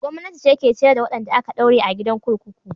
Gwamnati ce ke ciyar da wadanda aka daure a gidan kurkuku.